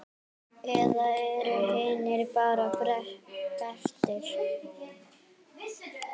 Eða eru hinir bara betri?